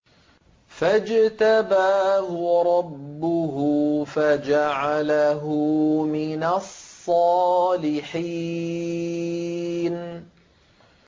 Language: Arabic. فَاجْتَبَاهُ رَبُّهُ فَجَعَلَهُ مِنَ الصَّالِحِينَ